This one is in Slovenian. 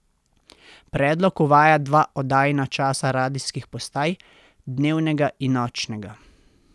Predlog uvaja dva oddajna časa radijskih postaj, dnevnega in nočnega.